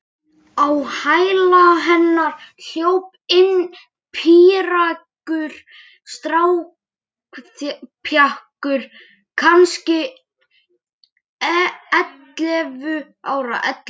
Á hæla hennar hljóp inn píreygur strákpjakkur, kannski ellefu ára.